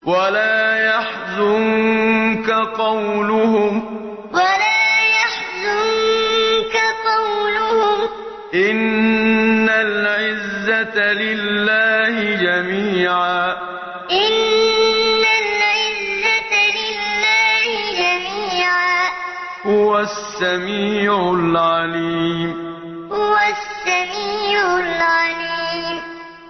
وَلَا يَحْزُنكَ قَوْلُهُمْ ۘ إِنَّ الْعِزَّةَ لِلَّهِ جَمِيعًا ۚ هُوَ السَّمِيعُ الْعَلِيمُ وَلَا يَحْزُنكَ قَوْلُهُمْ ۘ إِنَّ الْعِزَّةَ لِلَّهِ جَمِيعًا ۚ هُوَ السَّمِيعُ الْعَلِيمُ